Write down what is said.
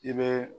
I bɛ